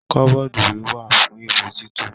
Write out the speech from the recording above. Kọbọ́dú ìwé wà fún ìwé tito.